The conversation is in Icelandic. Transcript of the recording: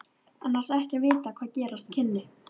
Annars ekki að vita hvað gerast kynni.